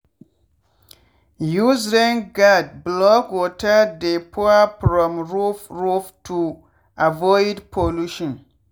use rain guard block water dey pour from roof roof to avoid pollution.